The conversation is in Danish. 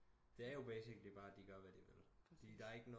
Det er jo basically bare at de gør hvad de vil fordi der er ikke